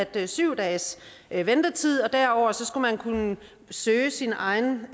ved syv dages ventetid og derover skal man kunne søge sin egen